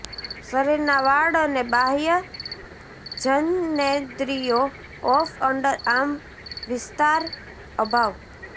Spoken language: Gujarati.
શરીરના વાળ અને બાહ્ય જનનેન્દ્રિયો ઓફ અંડરઆર્મ વિસ્તાર અભાવ